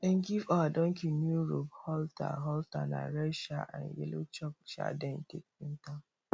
them give our donkey new rope halter halter na red um and yellow chalk um them take paint am